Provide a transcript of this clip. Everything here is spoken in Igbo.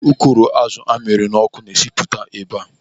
Ukoro azụ amịrị n'ọkụ na-esipụta ebe a.